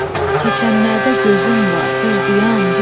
Keçənlərdə gözüm var, bir dayan bir.